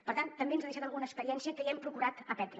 per tant també ens ha deixat alguna experiència que ja hem procurat aprendre